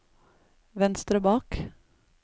venstre bak